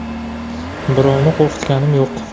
Birovni qo‘rqitganim yo‘q.